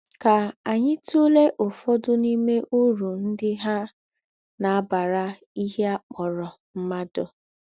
Kà ányị tùlè ọ̀fodụ̀ n’ìmé ūrù ńdị hà na - àbàrà ìhè à kpọ̀rọ̀ mmádụ.